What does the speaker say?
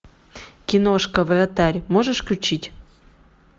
киношка вратарь можешь включить